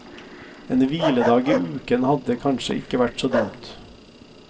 En hviledag i uken hadde kanskje ikke vært så dumt.